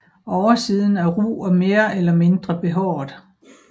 Oversiden er ru og mere eller mindre behåret